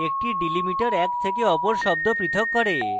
একটি delimiter এক থেকে অপর শব্দ পৃথক করে